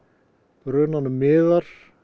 brunanum miðar